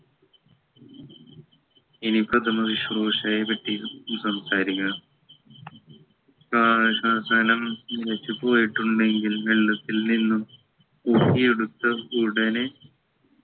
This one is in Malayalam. ഇനി പ്രഥമ ശിശ്രൂഷയെ പറ്റി സംസാരിക്കാം താഴെ പ്രതലം നിലച്ചു പോയിട്ടുണ്ടെങ്കിൽ വെള്ളത്തിൽ നിന്നും ഒപ്പിയെടുത്ത് ഉടനെ